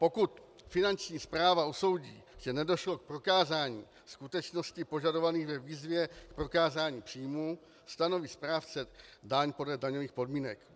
Pokud finanční správa usoudí, že nedošlo k prokázání skutečností požadovaných ve výzvě k prokázání příjmů, stanoví správce daň podle daňových podmínek.